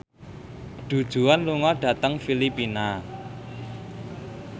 Du Juan lunga dhateng Filipina